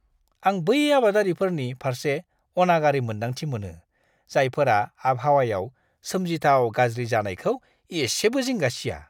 आं बै आबादारिफोरनि फारसे अनागारि मोन्दांथि मोनो, जायफोरा आबहावायाव सोमजिथाव गाज्रि जानायखौ इसेबो जिंगा सिआ!